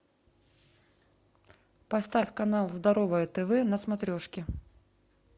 поставь канал здоровое тв на смотрешке